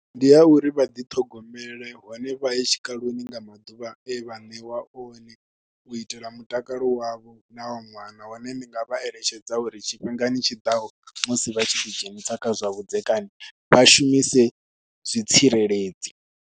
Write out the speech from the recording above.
Ndi ya uri vha ḓiṱhogomele hone vha ye tshikaloni nga maḓuvha e vha ṋeiwa one u itela mutakalo wavho na wa ṅwana hone ndi nga vha eletshedza uri tshifhingani tshiḓaho musi vha tshi ḓidzhenisa kha zwavhudzekani vha shumise zwitsireledzi.